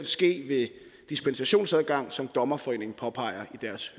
ske ved dispensationsadgang som dommerforeningen påpeger i deres